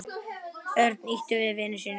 Örn ýtti við vini sínum.